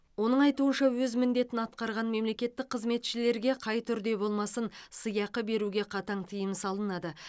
оның айтуынша өз міндетін атқарған мемлекеттік қызметшілерге қай түрде болмасын сыйақы беруге қатаң тыйым салынады